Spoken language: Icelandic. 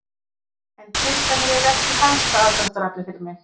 En peningarnir eru ekki helsta aðdráttaraflið fyrir mig.